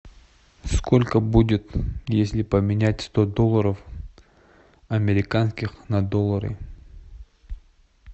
сколько будет если поменять сто долларов американских на доллары